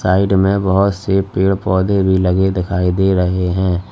Side में बहोत से पेड़ पौधे भी लगे दिखाई दे रहे हैं।